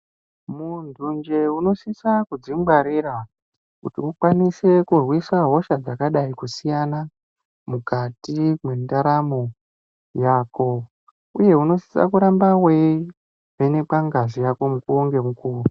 Muntunje unosisa kudzingwarira kuti ukwanise kurwisa hosha dzakadai kusiyana mukati mwendaramo yako uye unosisa kuramba weivhenekwa ngazi yako mukuwo ngemukuwo.